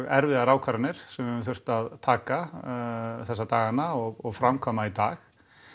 erfiðar ákvarðanir sem við höfum þurft að taka þessa dagana og framkvæma í dag